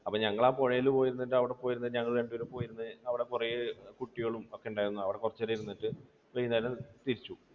അപ്പോൾ ഞങ്ങൾ ആ പുഴയിൽ പോയി ഇരുന്നിട്ട് അവിടെ പോയിരുന്നു ഞങ്ങൾ രണ്ടുപേരും പോയിരുന്ന്, അവിടെ കുറെ കുട്ടികളും ഒക്കെ ഉണ്ടായിരുന്നു. അവിടെ കുറച്ചു നേരം ഇരുന്നിട്ട് വൈകുന്നേരം തിരിച്ചു.